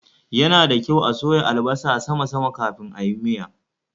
Ya na da kyau a soya albasa sama sama kafin ayi miya.